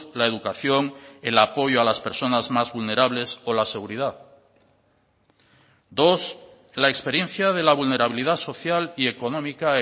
la educación el apoyo a las personas más vulnerables o la seguridad dos la experiencia de la vulnerabilidad social y económica